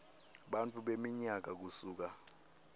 bantfu beminyaka kusuka